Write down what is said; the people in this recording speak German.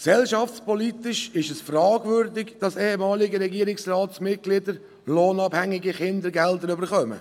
Gesellschaftspolitisch ist es fragwürdig, dass ehemalige Regierungsratsmitglieder lohnabhängige Kindergelder erhalten.